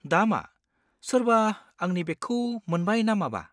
दा मा? सोरबा आंनि बेगखौ मोनबाय ना माबा?